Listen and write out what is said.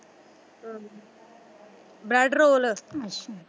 Bread roll ਅੱਛਾ।